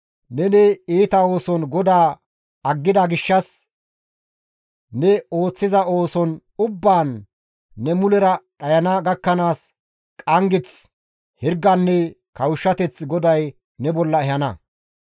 Neni iita ooson GODAA aggida gishshas ne ooththiza ooson ubbaan ne mulera dhayana gakkanaas qanggeth, hirganne kawushshateth GODAY ne bolla ehana.